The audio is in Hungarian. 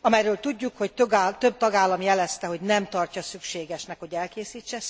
amelyről tudjuk, hogy több tagállam jelezte, hogy nem tartja szükségesnek, hogy elkészítse.